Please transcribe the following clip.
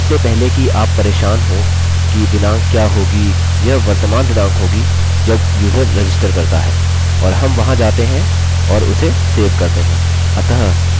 इससे पहले कि आप परेशान हों कि दिनाँक क्या होगी यह वर्तमान दिनाँक होगी जब यूज़र रजिस्टर करता है और हम वहाँ जाते हैं और उसे सेव करते हैं